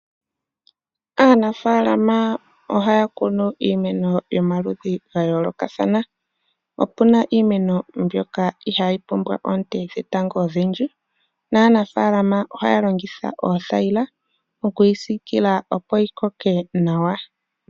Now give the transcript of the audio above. Aanafaalama ohaya kunu iimeno yomaludhi gayoolokathana opuna iimeno mbyoka ihaayi pumbwa oonte dhetango odhindji naanafalama ohaya longitha oothayila okuyi siikila opo yikoke nawa.